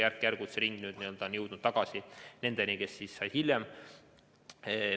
Järk-järgult on see ring n-ö jõudnud tagasi nendeni, kes said hiljem.